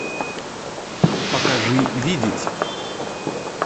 покажи видеть